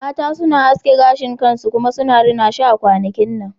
Mata suna aske gashin kansu suna rina shi a kwanakin nan